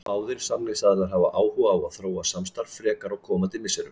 Báðir samningsaðilar hafa áhuga á að þróa samstarfið frekar á komandi misserum.